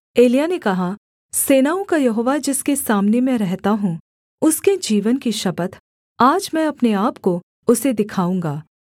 एलिय्याह ने कहा सेनाओं का यहोवा जिसके सामने मैं रहता हूँ उसके जीवन की शपथ आज मैं अपने आपको उसे दिखाऊँगा